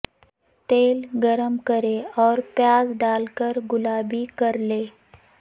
تیل گرم کریں اور پیاز ڈال کر گلابی کرلیں